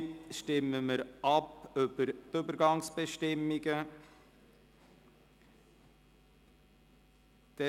Somit stimmen wir über die Übergangsbestimmungen ab.